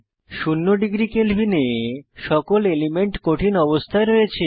শূন্য ডিগ্রী কেলভিনে সকল এলিমেন্ট কঠিন অবস্থায় রয়েছে